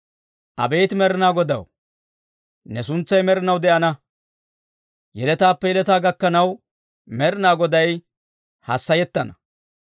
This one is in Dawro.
Abeet Med'inaa Godaw, ne suntsay med'inaw de'ana; yeletaappe yeletaa gakkanaw Med'inaa Goday hassayettana.